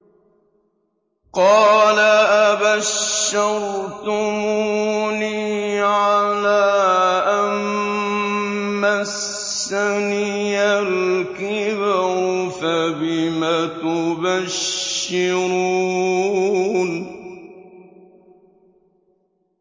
قَالَ أَبَشَّرْتُمُونِي عَلَىٰ أَن مَّسَّنِيَ الْكِبَرُ فَبِمَ تُبَشِّرُونَ